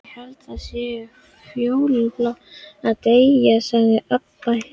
Ég held það sé fjólublátt að deyja, sagði Abba hin.